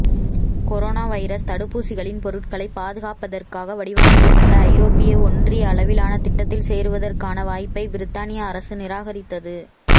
corona virus தடுப்பூசிகளின் பொருட்களைப் பாதுகாப்பதற்காக வடிவமைக்கப்பட்ட ஐரோப்பிய ஒன்றிய அளவிலான திட்டத்தில் சேருவதற்கான வாய்ப்பை பிரித்தானியா அரசு நிராகரித்தது